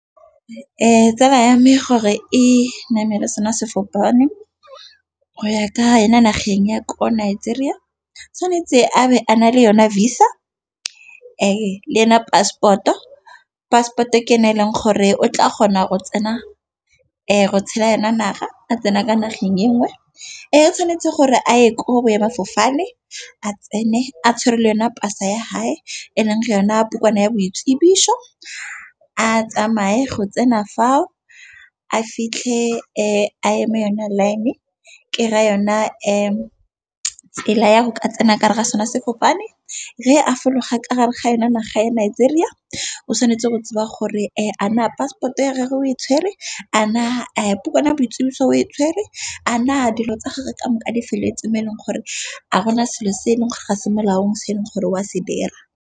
Tsala ya me gore e namele sone sefofaneng go ya ka yona nageng ya ko Nigeria. Tshwanetse a be a na le yone visa le yona passport-o. Passport-o ke yone e leng gore o tla kgona go tsena go tshela yona naga a tsena kwa nageng enngwe. Tshwanetse gore a ye kwa boemadifofane a tsene a tshwere le yona pasa ya hae eleng ga yona bukana ya boitsibiso. A tsamaye go tsena fao a fitlhe a eme yone line ke ra yone tsela ya go ka tsena kare ga sona se kopane re a fologa ka gare ga yona naga ya Nigeria. O tshwanetse go tseba gore a na passport-o ya gagwe o e tshwere, a na a bukana ya boitsibiso o e tshwere, a na dilo tsa gagwe ka moka di felletse mo e leng gore a ga go na selo se e leng gore ga se molaong se e leng gore o a se dira.